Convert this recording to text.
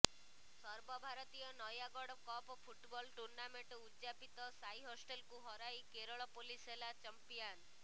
ସର୍ବଭାରତୀୟ Nayagarh cup football tournament ଉଦ ଯାପିତ ସାଇ ହଷ୍ଟେଲକୁ ହରାଇ କେରଳ ପୋଲିସ ହେଲା ଚମ୍ପିଆନ